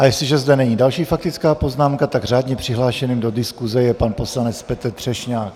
A jestliže zde není další faktická poznámka, tak řádně přihlášeným do diskuse je pan poslanec Petr Třešňák.